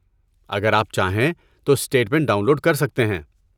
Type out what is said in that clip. اگر آپ چاہیں تو، اسٹیٹ منٹ ڈاؤن لوڈ کر سکتے ہیں۔